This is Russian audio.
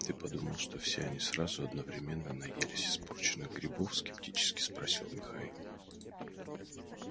ты подумал что все они сразу одновременно наелись испорченных грибов скептически спросил михаил